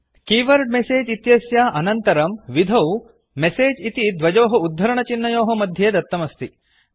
keyword message इत्यस्य अनन्तरं विधौ मेसेज् इति द्वयोः उद्धरणचिह्नयोः मध्ये दत्तम् अस्ति